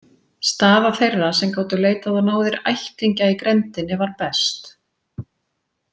Staða þeirra sem gátu leitað á náðir ættingja í grenndinni var best.